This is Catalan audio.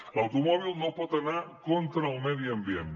l’automòbil no pot anar contra el medi ambient